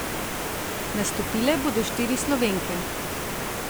Nastopile bodo štiri Slovenke.